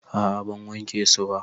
A'a ban wanke su ba.